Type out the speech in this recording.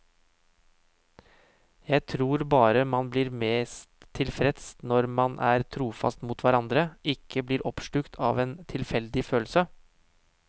Jeg tror bare man blir mest tilfreds når man er trofaste mot hverandre, ikke blir oppslukt av en tilfeldig følelse.